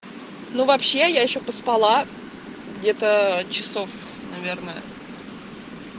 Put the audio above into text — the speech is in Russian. ну вообще я ещё поспала где-то часов наверное